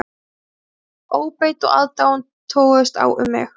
Óbeit og aðdáun toguðust á um mig.